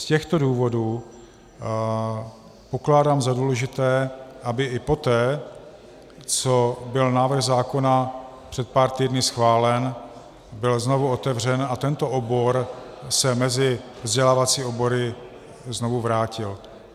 Z těchto důvodů pokládám za důležité, aby i poté, co byl návrh zákona před pár týdny schválen, byl znovu otevřen a tento obor se mezi vzdělávací obory znovu vrátil.